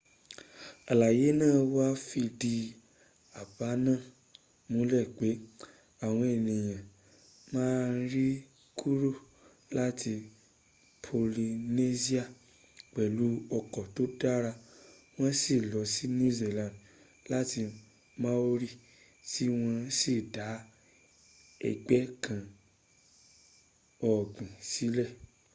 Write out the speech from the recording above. àlàyé náà wá fìdí àbá náà múlẹ̀ pé àwọn ènìyàn maori kúrò láti polynesia pẹ̀lú ọkọ̀ tó dára wọ́n sì lọ sí new zealand láti maori tí wọ́n sì dá ẹgbẹ́ ǹkan ọ̀gbìn sílẹ̀